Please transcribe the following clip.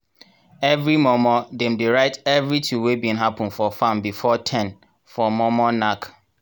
everi mor mor dem dey write everithing wey bin happen for farm before ten for mor mor nack.